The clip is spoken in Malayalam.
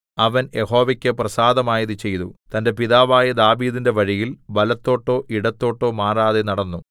അവൻ യഹോവയ്ക്ക് പ്രസാദമായത് ചെയ്തു തന്റെ പിതാവായ ദാവീദിന്റെ വഴിയിൽ വലത്തോട്ടോ ഇടത്തോട്ടോ മാറാതെ നടന്നു